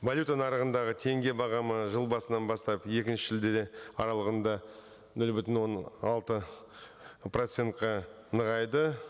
валюта нарығындағы теңге бағамы жыл басынан бастап екінші шілде аралығында нөл бүтін он алты процентке нығайды